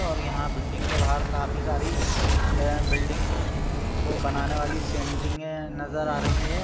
और यहाँ पर बिल्डिंग के बाहर काफी सारे बिल्डिंग को बनाने वाली सेटिंगे नजर आ रही हैं।